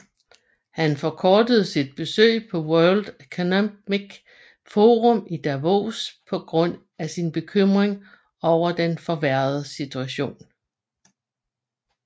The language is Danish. Han forkortede sit besøg på World Economic Forum i Davos på grund af sin bekymring over den forværrede situation